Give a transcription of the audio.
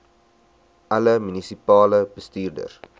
alle munisipale bestuurders